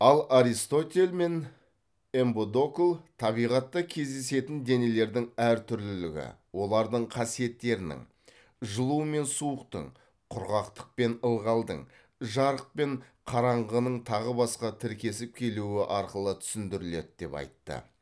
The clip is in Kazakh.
ал аристотель мен эмподокл табиғатта кездесетін денелердің әр түрлілігі олардың қасиеттерінің жылу мен суықтың құрғақтық пен ылғалдың жарық пен қараңғының тағы басқа тіркесіп келуі арқылы түсіндіріледі деп айтты